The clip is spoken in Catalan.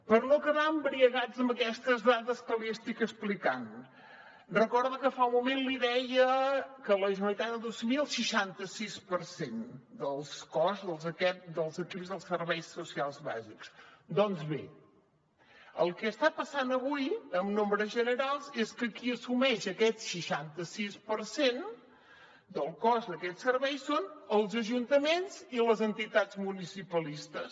per no quedar embriagats amb aquestes dades que li estic explicant recorda que fa un moment li deia que la generalitat ha d’assumir el seixanta sis per cent del cost dels equips dels serveis socials bàsics doncs bé el que està passant avui en nombres generals és que qui assumeix aquest seixanta sis per cent del cost d’aquests serveis són els ajuntaments i les entitats municipalistes